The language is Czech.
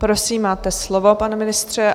Prosím, máte slovo, pane ministře.